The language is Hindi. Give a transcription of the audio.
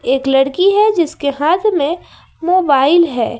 एक लड़की है जिसके हाथ में मोबाइल है।